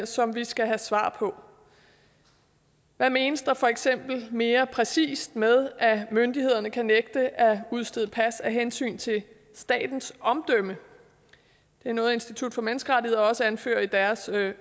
som vi skal have svar på hvad menes der for eksempel mere præcist med at myndighederne kan nægte at udstede pas af hensyn til statens omdømme det er noget institut for menneskerettigheder også anfører i deres